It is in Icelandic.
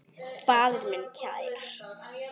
Faðir minn kær.